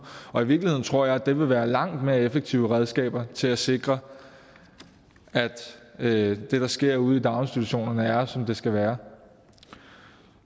og i virkeligheden tror jeg at det vil være langt mere effektive redskaber til at sikre at det der sker ude i daginstitutionerne er som det skal være